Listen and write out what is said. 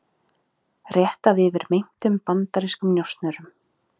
Réttað yfir meintum bandarískum njósnurum